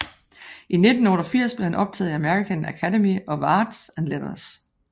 I 1988 blev han optaget i American Academy of Arts and Letters